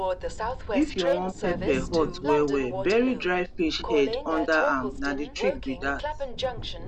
if you wan pepper hot wellwell bury dry fish head under am na the trick be that